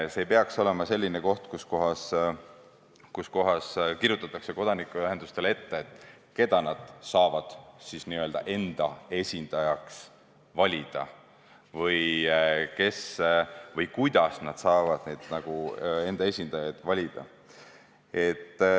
See ei peaks olema selline koht, kus kirjutatakse kodanikuühendustele ette, keda nad saavad enda esindajaks valida või kuidas nad saavad enda esindajaid valida.